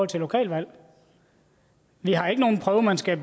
til lokalvalg vi har ikke nogen prøve man skal